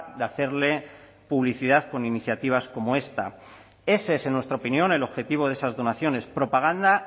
de hacerle publicidad con iniciativas como esta ese es en nuestra opinión el objetivo de esas donaciones propaganda